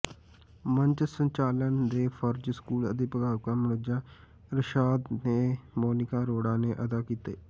ਮੰਚ ਸੰਚਾਲਨ ਦੇ ਫ਼ਰਜ਼ ਸਕੂਲ ਅਧਿਆਪਕਾ ਮੁਨੱਜਾ ਇਰਸ਼ਾਦ ਤੇ ਮੋਨਿਕਾ ਅਰੋੜਾ ਨੇ ਅਦਾ ਕੀਤੇ